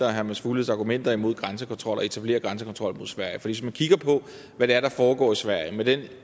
og herre mads fugledes argumenter imod grænsekontrol og at etablere grænsekontrol mod sverige hvis man kigger på hvad det er der foregår i sverige med den